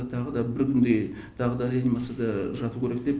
тағы да бір күндей тағы да реанимацияда жату керек деп